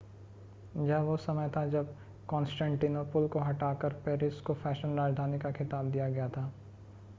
यह वो समय था जब कॉन्स्टेंटिनोपल को हटाकर पेरिस को फैशन राजधानी का खिताब दिया गया था